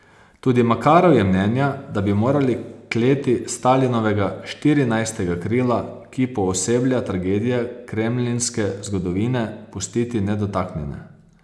Tudi Makarov je mnenja, da bi morali kleti Stalinovega Štirinajstega krila, ki pooseblja tragedije kremlinske zgodovine, pustiti nedotaknjene.